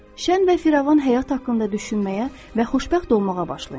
Şən və firavan həyat haqqında düşünməyə və xoşbəxt olmağa başlayın.